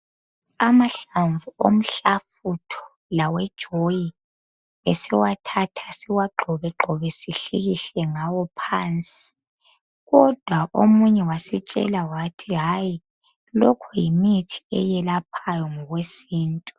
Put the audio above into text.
Amahlamvu omhlafutho lawejoyi esiwathatha siwagxobegxobe sihlikihle ngawo phansi kodwa omunye wasitshela wathi hayi lokhu yimithi eyelaphayo ngokwesiNtu.